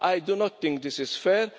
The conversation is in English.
responsibility. I do not think